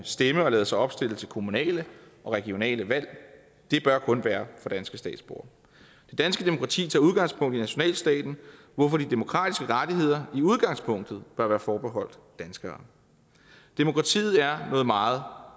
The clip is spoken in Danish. stemme og lade sig opstille til kommunale og regionale valg det bør kun være for danske statsborgere det danske demokrati tager udgangspunkt i nationalstaten hvorfor de demokratiske rettigheder i udgangspunktet bør være forbeholdt danskere demokratiet er noget meget